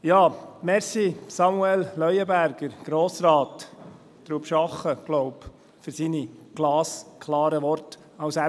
Ich danke Samuel Leuenberger, Grossrat aus Trubschachen, für seine glasklaren Worte als Emmentaler.